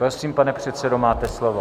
Prosím, pane předsedo, máte slovo.